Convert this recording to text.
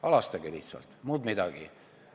Halastage lihtsalt, muud midagi!